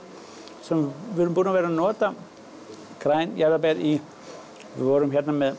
við erum búin að vera að nota græn jarðaber við vorum hérna með